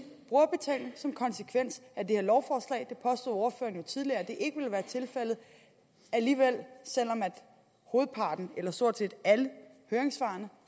brugerbetaling som konsekvens af det her lovforslag ordføreren påstod jo tidligere at det ikke ville være tilfældet selv om stort set alle høringssvarene